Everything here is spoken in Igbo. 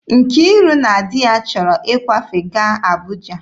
Nkiru na di ya chọrọ ịkwafe gaa Abụja